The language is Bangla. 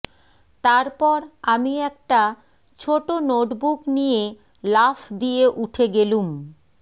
তারপর আমি একটা ছোট নোটবুক নিয়ে লাফ দিয়ে উঠে গেলুম